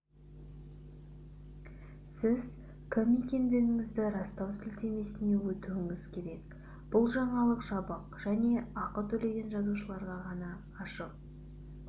сіз кім екендігіңізді растау сілтемесіне өтуіңіз керек бұл жаңалық жабық және ақы төлеген жазылушыларға ғана ашық